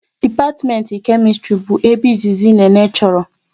Dipatimenti Kemistri bụ ebe izizi Nene chọrọ